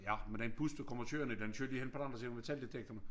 Ja men den bus du kommer kørende i den kører de hen på den anden side af metaldektorene